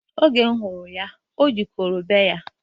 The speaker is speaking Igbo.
Oge mụ fụrụ ya, o ji kro baa ya